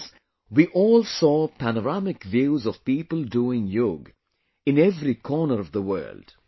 That is, we all saw panoramic views of people doing Yoga in every corner of the world